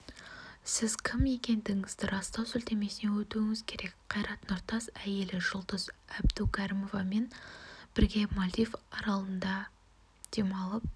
сіз кім екендігіңізді растау сілтемесіне өтуіңіз керек қайрат нұртас әйелі жұлдыз әбдукәрімовамен бірге мальдив аралдарында демалып